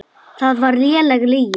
Það var léleg lygi.